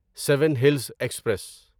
seven Hills express